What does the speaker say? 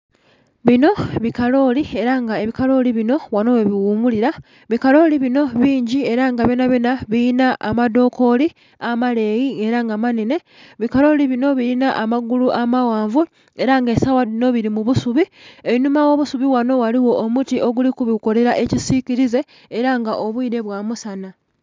Binho bikaloli, era nga bikaloli binho ghanho ghebi ghumulila, bikaloli binho bingi era nga byona byona bilinha amadhokoli amaleyi era nga manhenhe, bikaloli binho bilinha amagulu amaghanvu era nga esawa dhinho bili mubusubi, einhuma ogho busubi ghanho ghaligho omuti oguli kubikolela ekisikilize era nga obwile bwa musanha.